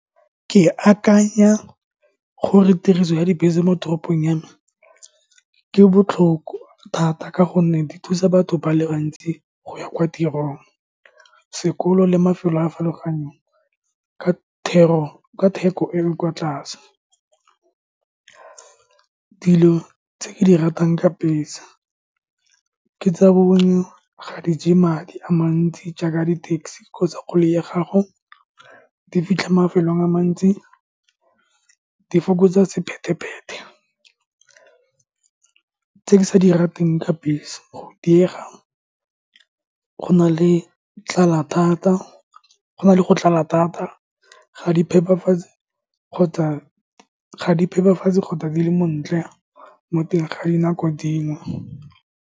Ke akanya gore tiriso ya dibese mo toropong ya me ke botlhoko thata, ka gonne di thusa batho ba le bantsi go ya kwa tirong, sekolo le mafelo a a farologaneng ka thero, ka theko e e kwa tlase. Dilo tse ke di ratang ka bese ke tsa , ga di je madi a mantsi jaaka di taxi kgotsa koloi ya gago, di fitlha mafelong a mantsi, di fokotsa sephetephete, tse ke sa di rateng ka bese, go diega, go na le tlala thata, go na le go tlala thata, Ga do phepafatse kgotsa, ga di phepafatse kgotsa di le montle mo teng ga dinako dingwe.